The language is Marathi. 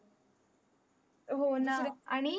हो न